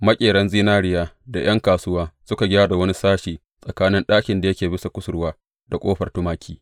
Maƙeran zinariya da ’yan kasuwa suka gyara wani sashi tsakanin ɗakin da yake bisa kusurwa da Ƙofar Tumaki.